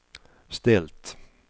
ställt